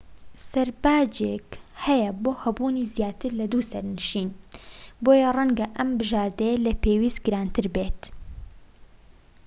سەرباجێک هەیە بۆ هەبوونی زیاتر لە 2 سەرنشین بۆیە ڕەنگە ئەم بژاردەیە لە پێویست گرانتر بێت